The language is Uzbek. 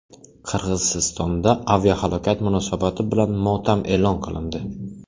Qirg‘izistonda aviahalokat munosabati bilan motam e’lon qilindi.